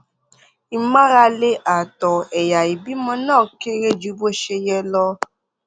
ìmárale ààtọ ẹyà ìbímọ náà kéré ju bó ṣe yẹ lọ